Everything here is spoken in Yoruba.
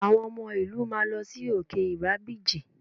Àwọn ọmọ ìlú máa lọ sí òkè ìrágbìjí